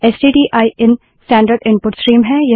stdin standard input stream है